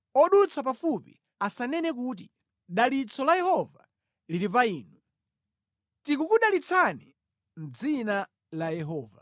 Odutsa pafupi asanene kuti, “Dalitso la Yehova lili pa inu; tikukudalitsani mʼdzina la Yehova.”